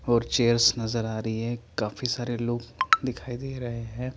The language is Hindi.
और चेयर्स नजर आ रही है काफी सारे लोग दिखाई दे रहे है।